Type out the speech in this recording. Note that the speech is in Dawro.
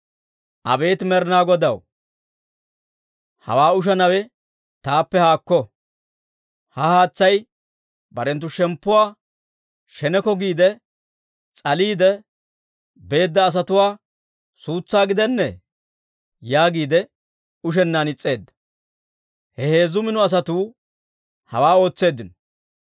«Abeet Med'inaa Godaw, hawaa ushanawe taappe haakko! Ha haatsay barenttu shemppuwaa sheneko giide s'aliidde beedda asatuwaa suutsaa gidennee?» yaagiide ushennaan is's'eedda. Ha heezzu mino asatuu hawaa ootseeddino.